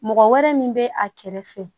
Mɔgɔ wɛrɛ min bɛ a kɛrɛfɛ